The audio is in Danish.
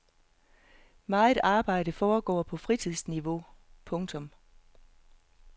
Meget arbejde foregår på fritidsniveau. punktum